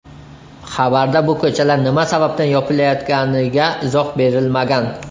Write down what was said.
Xabarda bu ko‘chalar nima sababdan yopilayotganiga izoh berilmagan.